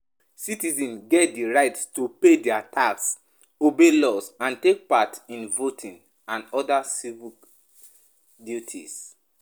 Citizens get di right to pay their tax, obey laws and take part in voting and oda civic duties